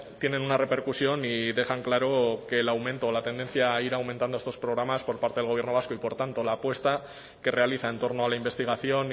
tienen una repercusión y dejan claro que el aumento o la tendencia a ir aumentando estos programas por parte del gobierno vasco y por tanto la apuesta que realiza en torno a la investigación